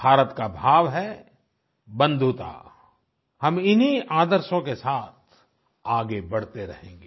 भारत का भाव है बंधुता हम इन्हीं आदर्शों के साथ आगे बढ़ते रहेंगे